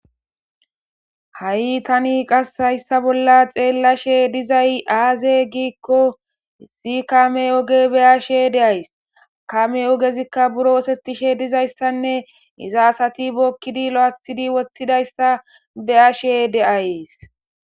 Hay tani qassi hayssa bolla xeelashe dizay aazee giikko issi kaame oge be7ashe de7ays. Kaame ogezikka buro osetishe dizayssanne iza asati bookidi loythidi wothidayssa be7ashe de7ays.